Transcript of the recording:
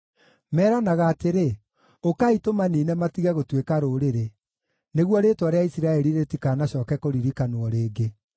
Meranaga atĩrĩ, “Ũkai, tũmaniine matige gũtuĩka rũrĩrĩ, nĩguo rĩĩtwa rĩa Isiraeli rĩtikanacooke kũririkanwo rĩngĩ.”